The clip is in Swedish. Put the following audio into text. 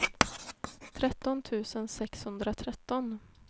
tretton tusen sexhundratretton